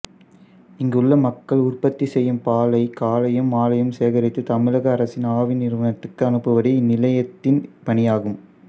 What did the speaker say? இங்குள்ள மக்கள் உற்பத்தி செய்யும் பாலை காலையும் மாலையும் சேகரித்து தமிழக அரசின் ஆவின் நிறுவனத்திற்கு அனுப்புவதே இந்நிலையத்தின் பணியாகும்